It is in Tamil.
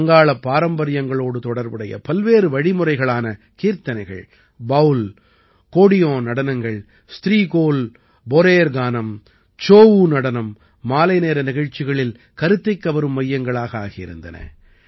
வங்காளப் பாரம்பரியங்களோடு தொடர்புடைய பல்வேறு வழிமுறைகளான கீர்த்தனைகள் பாவுல் கோடியோன் நடனங்கள் ஸ்திரீகோல் போரேர் கானம் சோஊநடனம் மாலைநேர நிகழ்ச்சிகளில் கருத்தைக் கவரும் மையங்களாக ஆகியிருந்தன